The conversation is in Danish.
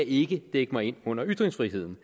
ikke dække mig ind under ytringsfriheden